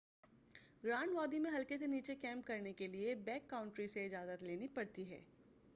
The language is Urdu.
گرانڈ وادی میں حلقے سے نیچے کیمپ کرنے کیلئے بیک کاؤنٹری سے اجازت لینی پڑتی ہے